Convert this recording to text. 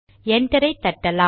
என்டரை தட்டலாம்